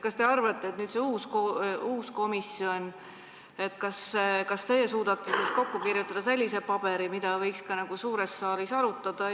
Mis te arvate, kas see uus komisjon suudab kokku kirjutada sellise paberi, mida võiks ka suures saalis arutada?